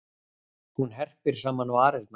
Hún herpir saman varirnar.